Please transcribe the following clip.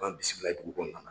An bisimila dugu kɔnɔna na.